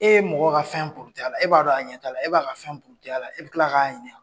E ye mɔgɔ ka fɛn purit'a la, e b'a dɔn a ɲɛ t'a la, e b'a ka fɛn puriti a la , e bɛ tila k'a ɲinika!